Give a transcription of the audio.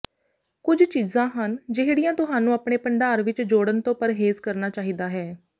ਕੁਝ ਚੀਜ਼ਾਂ ਹਨ ਜਿਹੜੀਆਂ ਤੁਹਾਨੂੰ ਆਪਣੇ ਭੰਡਾਰ ਵਿੱਚ ਜੋੜਨ ਤੋਂ ਪਰਹੇਜ਼ ਕਰਨਾ ਚਾਹੀਦਾ ਹੈ